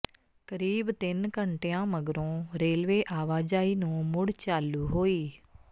ਕਰੀਬ ਤਿੰਨ ਘੰਟਿਆਂ ਮਗਰੋਂ ਰੇਲਵੇ ਆਵਾਜਾਈ ਨੂੰ ਮੁੜ ਚਾਲੂ ਹੋਈ